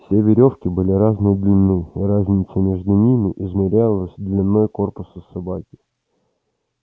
все верёвки были разной длины и разница между ними измерялась длиной корпуса собаки